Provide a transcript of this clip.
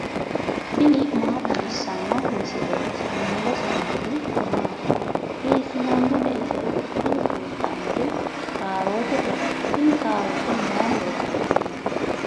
tini maa xawissanno misileeti ? mulese noori maati ? hiissinannite ise ? tini kultannori kaarootete. tini kaaroote may horo afidhino?